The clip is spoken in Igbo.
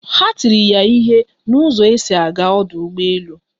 Ha tiri ya ihe na ụzọ esi aga ọdụ ụgbọ elu